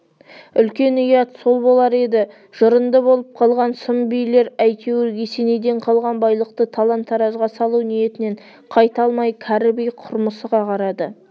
үлкен ұят сол болар еді жырынды болып қалған сұм билер әйтеуір есенейден қалған байлықты талан-таражға салу ниетінен қайта алмай кәрі би құрмысыға қарады